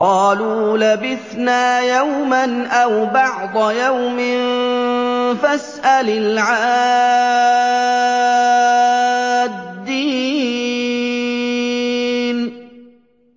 قَالُوا لَبِثْنَا يَوْمًا أَوْ بَعْضَ يَوْمٍ فَاسْأَلِ الْعَادِّينَ